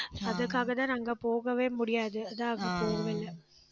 அதுக்காகத்தான், நாங்க போகவே முடியாது. அதா அங்க போகவே இல்லை